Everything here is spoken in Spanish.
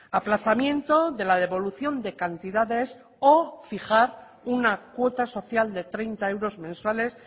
aplazamiento de la devolución de cantidades o fijar una cuota social de treinta euros mensuales